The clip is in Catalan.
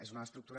és una estructura